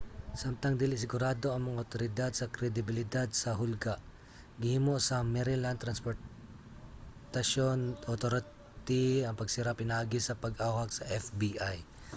samtang dili sigurado ang mga awtoridad sa kredibilidad sa hulga gihimo sa maryland transportaion authority ang pagsira pinaagi sa pag-awhag sa fbi